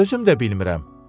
Özüm də bilmirəm.